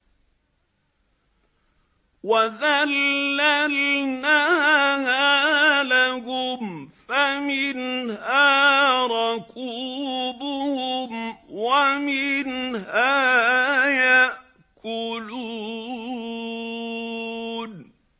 وَذَلَّلْنَاهَا لَهُمْ فَمِنْهَا رَكُوبُهُمْ وَمِنْهَا يَأْكُلُونَ